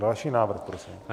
Další návrh, prosím.